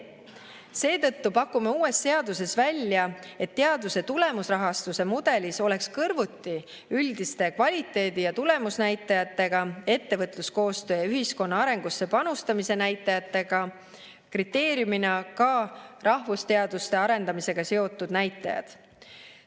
Seetõttu pakume uues seaduses välja, et teaduse tulemusrahastuse mudelis oleks kõrvuti üldiste kvaliteedi‑ ja tulemusnäitajatega, ettevõtluskoostöö ja ühiskonna arengusse panustamise näitajatega kriteeriumina ka rahvusteaduste arendamisega seotud näitajad.